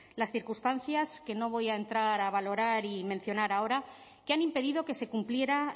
las circunstancias que no voy a entrar a valorar y mencionar ahora que han impedido que se cumpliera